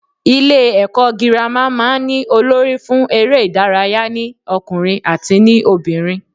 Ilé èkó girama máa n ní Olórí fún eré ìdárayá ní okùnrin àti ní obìnrin